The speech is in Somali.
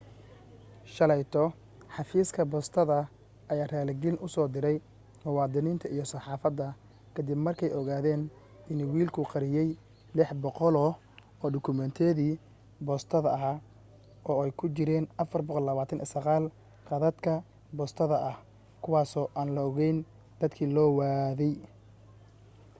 shalayto xafiiska boostada ayaa raaligelin u soo diray muwaadiniinta iyo saxaafadda ka dib markay ogaadeen in wiilku qariyay 600 oo dukumeentiyada boostada ah oo ay ku jiraan 429 kaadhadhka boostada ah kuwaasoo aan loo geyn dadkii loo waday